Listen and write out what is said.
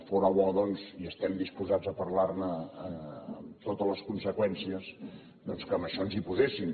fóra bo doncs i estem disposats a parlar ne amb totes les conseqüències que en això ens hi poséssim